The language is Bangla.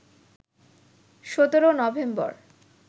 ১৭ নভেম্বর